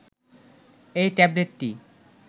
এই ট্যাবলেটটি